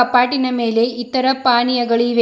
ಕಪಾಟಿನ ಮೇಲೆ ಇತರ ಪಾನೀಯಗಳು ಇವೆ.